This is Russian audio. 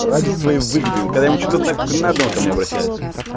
ради своей выгоды вот когда им что-то надо он ко мне обращается